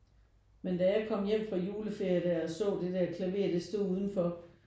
Men da jeg kom hjem fra juleferie der og så det der klaver det stod udenfor